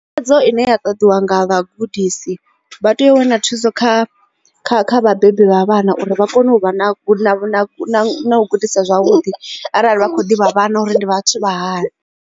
Thikhedzo ine ya ṱoḓiwa nga vhagudisi vha tea u wana thuso kha kha kha vhabebi vha vhana uri vha kone u vha na gudisa zwavhuḓi arali vha kho ḓivha vhana uri ndi vhathu vha hani.